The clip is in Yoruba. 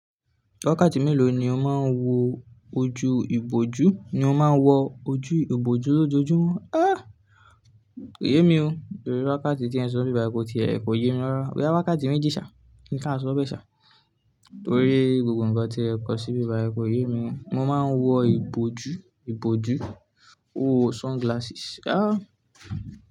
Wákàtì mélòó ni o máa ń wo ojú ìbojú? Ni o máa ń wọ ojú ìbojú lójoojúmọ́? Éh! Kò yé mi o. Torí wakàtì tí ẹ sọ n bíbáyi ko ti è kọ yé mi lọ́wọ́. Bóyá wakàtì méjì ṣà, kín ṣa sọ bẹ ṣà. Torí gbogbo ǹkan tí ẹ kọ sí bíbáyi kò yé mi. Mo máa ń wọ ìbojú, ìbojú ó sunglasses. Áh!